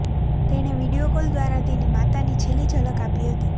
તેણે video call દ્વારા તેની માતાની છેલ્લી ઝલક આપી હતી